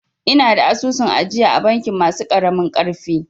Ina da asusun ajiya a bankin masu ƙaramin ƙarfi